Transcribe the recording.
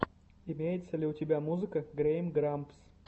имеется ли у тебя музыка гейм грампс